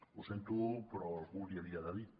ho sento però algú l’hi havia de dir